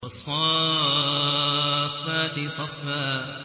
وَالصَّافَّاتِ صَفًّا